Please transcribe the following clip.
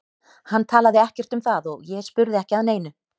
Hann talaði ekkert um það og ég spurði ekki að neinu.